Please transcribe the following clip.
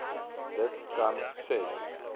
dit kan ses